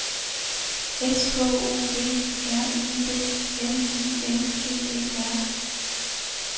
S K O V R Y D N I N G E R